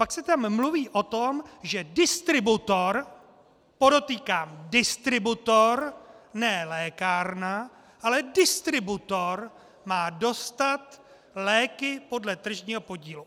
Pak se tam mluví o tom, že distributor, podotýkám distributor, ne lékárna, ale distributor má dostat léky podle tržního podílu.